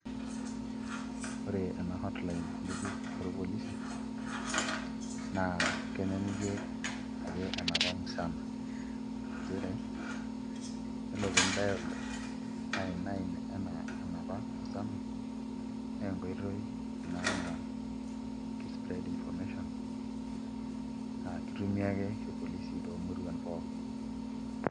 Ore ena hotline ng'ejuk orpolisi naa kenyanyukie ake enapa musana nchere yiolo pee indial nine nine enaa enapa musana naa enkoitoi ina naa spread information aa kitumia ake irpolisi toomuruan pookin.